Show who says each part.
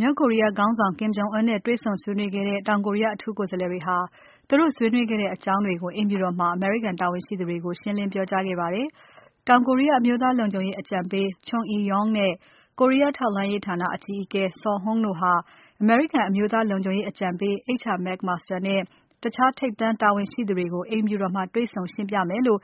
Speaker 1: မြောက်ကိုရီးယားခေါင်းဆောင် Kim Jong Un နဲ့ တေ့ွဆုံဆွေးနွေးခဲ့ကြတဲ့ တောင်ကိုရီးယား အထူးကိုယ်စားလှယ်တွေဟာ သူတို့ဆွေးနွေးခဲ့တဲ့ အကြောင်းတွေကို အိမ်ဖြူတော်မှာ အမေရိကန်တာဝန်ရှိသူတွေကို ရှင်းလင်းပြောကြားခဲ့ပါတယ်။ တောင်ကိုရီးယား အမျိုးသားလုံခြုံရေးအကြံပေး Chung Eui-yong နဲ့ ကိုရီးယားထောက်လှမ်းရေးဌာန အကြီးအကဲ Suh Hoon တို့ဟာ အမေရိကန် အမျိုးသားလုံခြုံရေးအကြံပေး H.R. McMaster နဲ့ ထိပ်တန်းတာဝန်ရှိသူတွေကို အိမ်ဖြူတော်မှာ တေ့ွဆုံရှင်းပြမယ်လို့